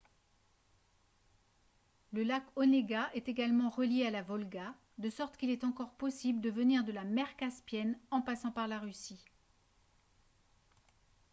le lac onega est également relié à la volga de sorte qu'il est encore possible de venir de la mer caspienne en passant par la russie